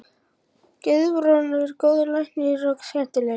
Guðbrandur er góður læknir og skemmtilegur.